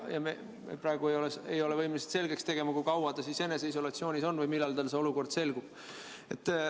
Ja praegu me ei ole võimelised selgeks tegema, kui kaua ta eneseisolatsioonis on või millal tal see selgub.